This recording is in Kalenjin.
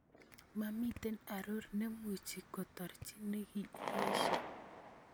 Momiten aroor nemuchi ketoorchi neki iesyo